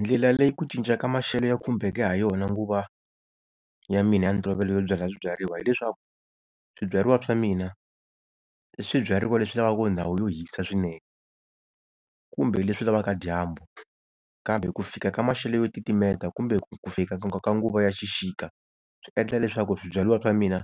Ndlela leyi ku cinca ka maxelo ya khumbeke ha yona nguva ya mina ya ntolovelo yo byala swibyariwa hi leswaku, swibyariwa swa mina i swibyariwa leswi lavaka ndhawu yo hisa swinene kumbe leswi lavaka dyambu. Kambe ku fika ka maxelo yo titimeta kumbe ku fika ka nguva ya xixika swi endla leswaku swibyariwa swa mina